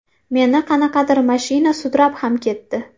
Meni qanaqadir mashina sudrab ham ketdi.